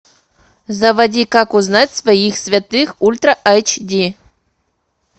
заводи как узнать своих святых ультра айч ди